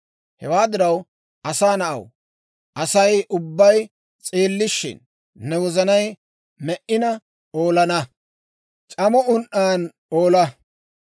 Hewaa diraw, «Asaa na'aw, Asay ubbay s'eellishshin, ne wozanay me"ina oola, c'amo un"an oola.